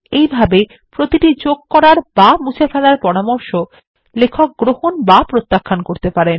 এই ভাবে প্রতিটি যোগ করার বা মুছে ফেলার পরামর্শ লেখক গ্রহণ বা প্রত্যাখান করতে পারেন